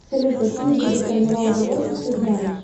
салют какие виды карнавал животных ты знаешь